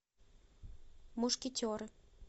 мушкетеры